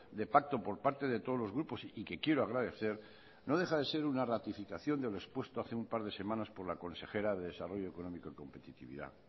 de pacto por parte de todos los grupos y que quiero agradecer no deja de ser una ratificación de lo expuesto hace un par de semanas por la consejera de desarrollo económico y competitividad